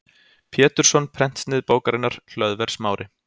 Pétursson prentsnið bókarinnar, Hlöðver Smári